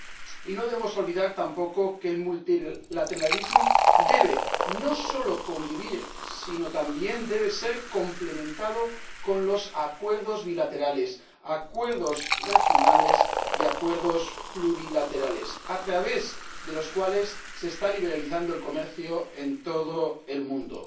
Y no debemos olvidar tampoco que el multilateralismo debe no solo convivir, sino también debe ser complementado con los acuerdos bilaterales, acuerdos regionales y acuerdos plurilaterales a través de los cuales se está liberalizando el comercio en todo el mundo.